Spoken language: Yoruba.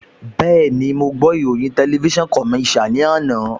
Bẹ́ẹ̀ni, mo ìròyìn TVC ní àná